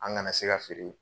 An kana se k'a feere